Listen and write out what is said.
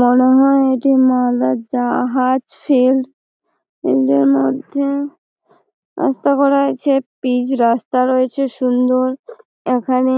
মনে হয় এটা মালদার জাহাজ ফিল্ড এটার মধ্যে রাস্তা করা আছে পিচ্ রাস্তা রয়েছে সুন্দর এখানে